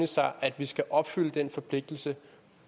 sig at vi skal opfylde den forpligtelse